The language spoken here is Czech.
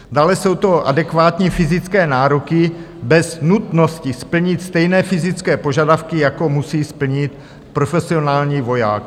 Dále jsou to adekvátní fyzické nároky bez nutnosti splnit stejné fyzické požadavky, jako musí splnit profesionální voják.